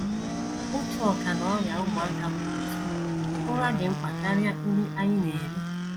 Otu ọkà n’ọrịa ụmụaka kwuru, sị: “ Ụra dị mkpa karịa nri anyị na - eri.